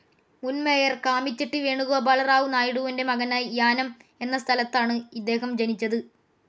മുൻ മേയർ കാമിചെട്ടി വേണുഗോപാല റാവു നായിഡുവിന്റെ മകനായി യാനം എന്ന സ്ഥലത്താണ് ഇദ്ദേഹം ജനിച്ചത്.